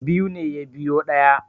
Biyu ne ya biyo ɗaya